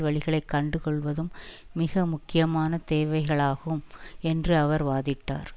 வழிகளை கண்டுகொள்வதும் மிக முக்கியமான தேவைகளாகும் என்று அவர் வாதிட்டார்